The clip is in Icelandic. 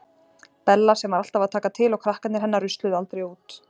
Bella sem var alltaf að taka til og krakkarnir hennar rusluðu aldrei út.